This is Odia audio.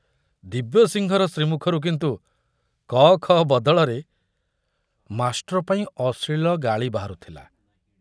ଦିବ୍ୟସିଂହର ଶ୍ରୀମୁଖରୁ କିନ୍ତୁ କ ଖ ବଦଳରେ ମାଷ୍ଟ୍ରପାଇଁ ଅଶ୍ଳୀଳ ଗାଳି ବାହାରୁଥିଲା।